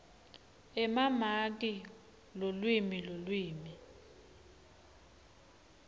emamaki lulwimi lulwimi